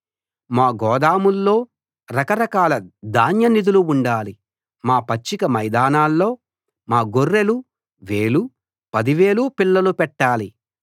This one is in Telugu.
మా గోదాముల్లో రకరకాల ధాన్య నిధులు నిండాలి మా పచ్చిక మైదానాల్లో మా గొర్రెలు వేలు పదివేలు పిల్లలు పెట్టాలి